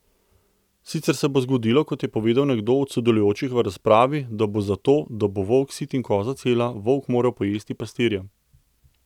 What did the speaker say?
Sicer se bo zgodilo, kot je povedal nekdo od sodelujočih v razpravi, da bo zato, da bo volk sit in koza cela volk moral pojesti pastirja.